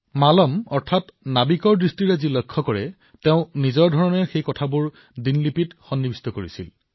মালম নামৰ এজন নাবিকে যি অভিজ্ঞতা লাভ কৰিছিল সেয়া তেওঁ নিজৰ ধৰণে ডায়েৰীত লিখি ৰাখিছিল